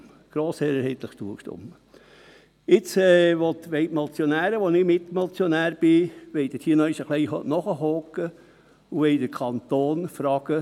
Jetzt wollen die Motionäre, auch ich als Mitmotionär, dort noch einmal ein wenig nachhaken und den Kanton fragen: